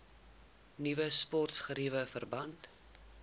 nuwe sportgeriewe verband